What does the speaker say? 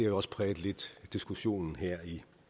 også præget diskussionen lidt her i